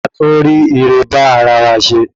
A tún rí irẹ bá ara wa se